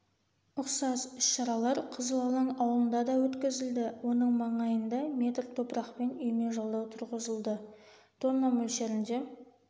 ұқсас іс-шаралар қызыл алаң ауылында да өткізілді оның маңайында метр топырақпен үйме жалдау тұрғызылды тонна мөлшерінде